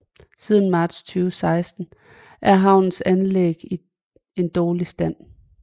Siden marts 2016 er havnens anlæg i en dårlig stand